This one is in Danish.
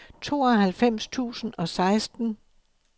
tooghalvfems tusind og seksten